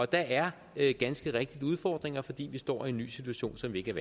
der er ganske rigtigt udfordringer fordi vi står i en ny situation som vi ikke